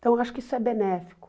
Então, eu acho que isso é benéfico.